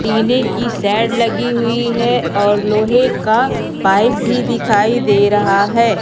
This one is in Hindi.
टीने की शेड लगी हुई है और लोहे का पाइप भी दिखाई दे रहा है।